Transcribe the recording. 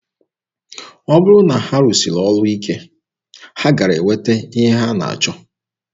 Ọ bụrụ na ha rụsiri ọrụ ike, ha gaara enweta ihe ha na-achọ.